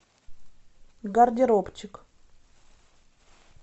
гардеробчик